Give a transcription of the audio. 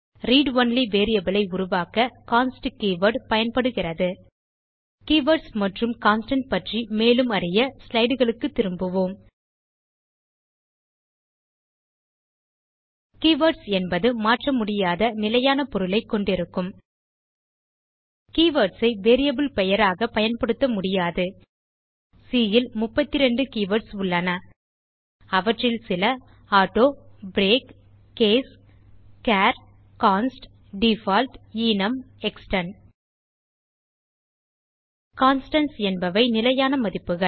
read only variable ஐ உருவாக்க const keyword பயன்படுகிறது கீவர்ட்ஸ் மற்றும் கான்ஸ்டன்ட் பற்றி மேலும் அறிய ஸ்லைடு களுக்குத் திரும்புவோம் கீவர்ட்ஸ் என்பது மாற்றமுடியாத நிலையான பொருளைக் கொண்டிருக்கும் கீவர்ட்ஸ் ஐ வேரியபிள் பெயராக பயன்படுத்த முடியாது சி ல் 32 கீவர்ட்ஸ் உள்ளன அவற்றில் சில auto break case char const default enum extern constants என்பவை நிலையான மதிப்புகள்